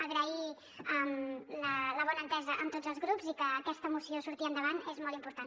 agrair la bona entesa amb tots els grups i que aquesta moció surti endavant és molt important